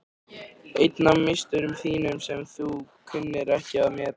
Einn af meisturum þínum sem þú kunnir ekki að meta.